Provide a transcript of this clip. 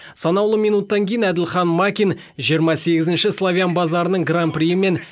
санаулы минуттан кейін әділхан макин жиырма сегізінші славян базарының гран приі мен